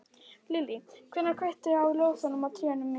Lillý: Hver kveikti á ljósunum á trénu í fyrra?